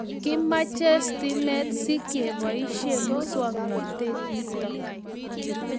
kimache stimet si keboishe muswognatet nitok